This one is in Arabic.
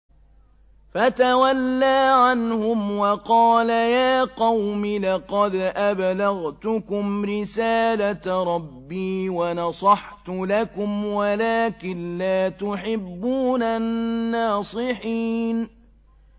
فَتَوَلَّىٰ عَنْهُمْ وَقَالَ يَا قَوْمِ لَقَدْ أَبْلَغْتُكُمْ رِسَالَةَ رَبِّي وَنَصَحْتُ لَكُمْ وَلَٰكِن لَّا تُحِبُّونَ النَّاصِحِينَ